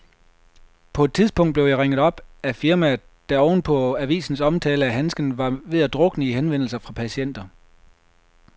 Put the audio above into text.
På et tidspunkt blev jeg ringet op af firmaet, der oven på avisens omtale af handsken var ved at drukne i henvendelser fra patienter.